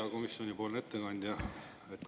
Hea komisjonipoolne ettekandja!